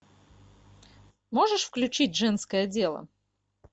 можешь включить женское дело